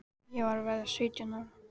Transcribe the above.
Ég var að verða sautján ára.